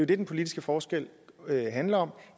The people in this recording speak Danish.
det den politiske forskel handler om